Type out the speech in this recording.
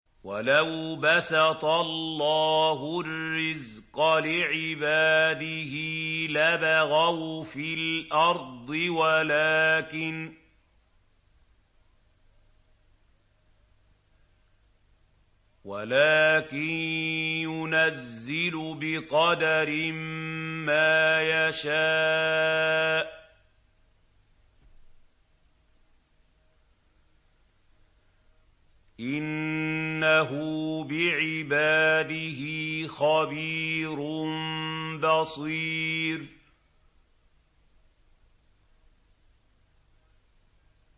۞ وَلَوْ بَسَطَ اللَّهُ الرِّزْقَ لِعِبَادِهِ لَبَغَوْا فِي الْأَرْضِ وَلَٰكِن يُنَزِّلُ بِقَدَرٍ مَّا يَشَاءُ ۚ إِنَّهُ بِعِبَادِهِ خَبِيرٌ بَصِيرٌ